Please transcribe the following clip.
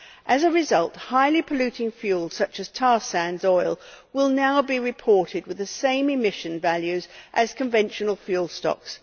As a result, highly polluting fuels, such as tar sands oil, will now be reported with the same emission values as conventional fuel stocks.